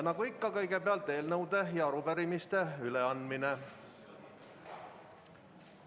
Nagu ikka, kõigepealt on eelnõude ja arupärimiste üleandmine.